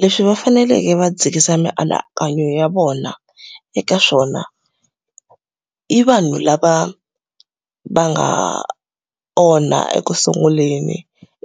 Leswi va faneleke va dzikisa mianakanyo ya vona eka swona i vanhu lava va nga onha ekusunguleni.